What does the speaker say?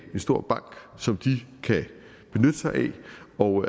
stor bank som de kan benytte sig af og